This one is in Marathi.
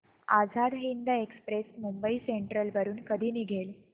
आझाद हिंद एक्सप्रेस मुंबई सेंट्रल वरून कधी निघेल